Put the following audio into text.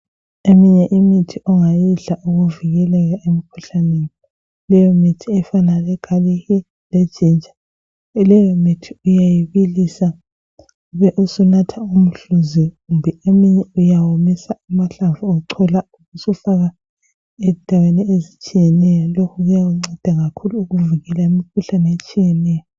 Eminye imithi ongayidla ukuvikeleka emikhuhlaneni leyo mithi efana le galiki le Jinja, leyo mithi uyayibilisa ubesunatha umhluzi kumbe eminye uywomisa amahlamvu ubusuchola ubusufaka endaweni ezitshiyeneyo ,lo uyakunceda kakhulu ukuvikela imikhuhlane etshiyeneyo.